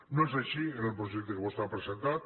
no és així en el projecte que vostè ha presentat